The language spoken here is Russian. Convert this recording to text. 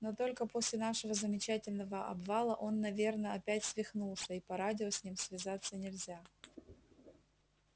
но только после нашего замечательного обвала он наверно опять свихнулся и по радио с ним связаться нельзя